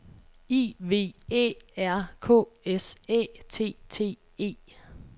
I V Æ R K S Æ T T E